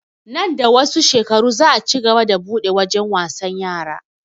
Nan da wasu shekaru za a cigaba da buɗe wajen wasan yara